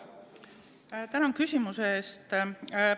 Tänan küsimuse eest!